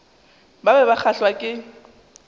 ba be ba kgahlwa ke